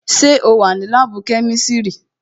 Sẹ́ o wà ní láàbù kẹ́misiri?